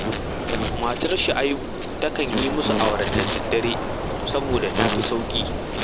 Matar Shu’abu takan yi musu awara da daddare saboda ta fi sauƙi